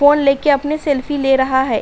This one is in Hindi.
फ़ोन लेके अपनी सेल्फी ले रहा है।